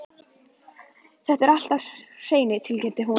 Þetta er allt á hreinu, tilkynnti hún.